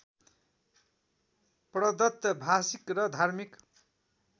प्रदत्त भाषिक र धार्मिक